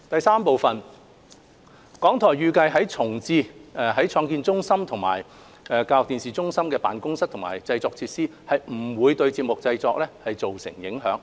三港台預計重置創新中心及教育電視中心的辦公室和製作設施，不會對節目製作造成影響。